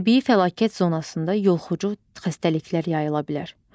Təbii fəlakət zonasında yoluxucu xəstəliklər yayıla bilər.